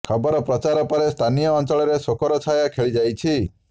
ଖବର ପ୍ରଚାର ପରେ ସ୍ଥାନୀୟ ଅଞ୍ଚଳରେ ଶୋକର ଛାୟା ଖେଳି ଯାଇଛି